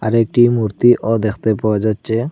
একটি মূর্তিও দেখতে পাওয়া যাচ্ছে।